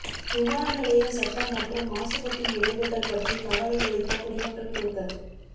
விமான நிலைய சத்தம் மற்றும் மாசுபாட்டின் விளைவுகள் பற்றி கவலையளித்த குடிமக்கள் குழுக்கள்